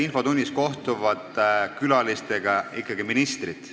Infotunnis kohtuvad külalistega ikkagi ministrid.